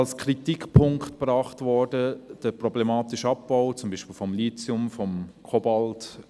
Als Kritikpunkt wurde der problematische Abbau gebracht, beispielsweise von Lithium oder von Kobalt.